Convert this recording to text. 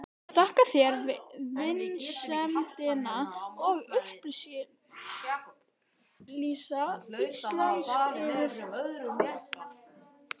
Þakka þér vinsemdina að upplýsa íslensk yfirvöld.